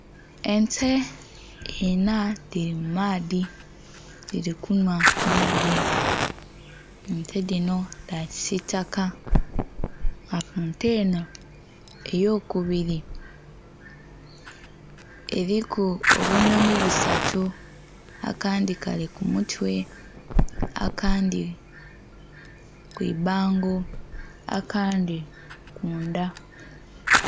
Ente inha dhiri mu maadhi dhili kunhwa maadhi, ente dhinho dha kisitaka nga ku nte enho eyo kubiri eriku obunhonhi busatu akandhi Kali ku mutwe, akandhi kwi bango, akandhi kundha.